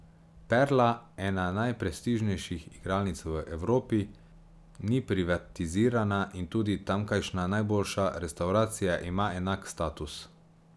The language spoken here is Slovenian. Perla, ena najprestižnejših igralnic v Evropi, ni privatizirana in tudi tamkajšnja najboljša restavracija ima enak status.